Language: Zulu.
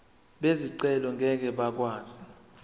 bezicelo ngeke bakwazi